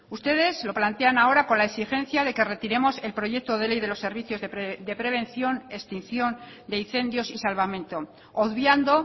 ustedes lo plantean ahora con la exigencia de que retiremos el proyecto de ley de los servicios de prevención extinción de incendios y salvamento obviando